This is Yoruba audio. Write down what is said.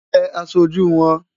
Bẹ aṣojú wọn!